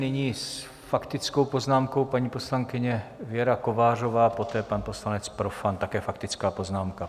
Nyní s faktickou poznámkou paní poslankyně Věra Kovářová, poté pan poslanec Profant, také faktická poznámka.